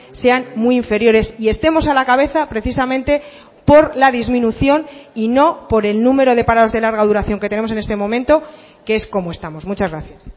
sean muy inferiores y estemos a la cabeza precisamente por la disminución y no por el número de parados de larga duración que tenemos en este momento que es como estamos muchas gracias